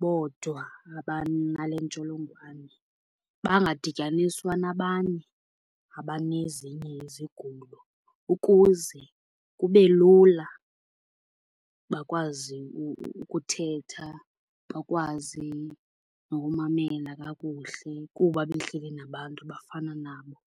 bodwa abanale ntsholongwane. Bangadityaniswa nabanye abanezinye izigulo ukuze kube lula. Bakwazi ukuthetha, bakwazi nokumamela kakuhle kuba behleli nabantu abafana nabo.